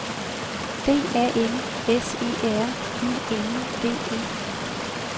D A N S E R I N D E